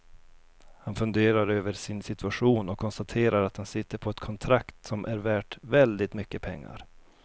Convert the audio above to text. Han funderar över sin situation och konstaterar att han sitter på ett kontrakt som är värt väldigt mycket pengar.